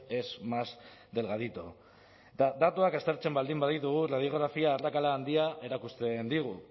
es más delgadito eta datuak aztertzen baldin baditugu radiografia arrakala handia erakusten digu